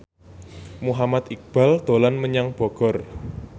Muhammad Iqbal dolan menyang Bogor